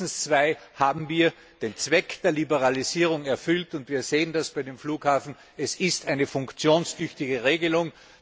Mit mindestens zwei haben wir den Zweck der Liberalisierung erfüllt, und wir sehen das bei den Flughäfen, es ist eine funktionstüchtige Regelung.